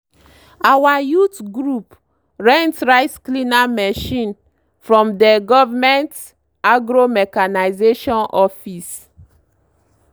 our youth group rent rice cleaner machine from dey government agro-mechanization office.